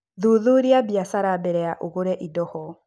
Thuthuria biacara mbere ya ũgũre indo ho.